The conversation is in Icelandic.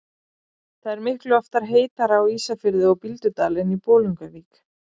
Það er miklu oftar heitara á Ísafirði og Bíldudal en í Bolungarvík.